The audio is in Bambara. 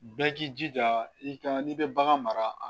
Bɛɛ k'i jija i ka n'i bɛ bagan mara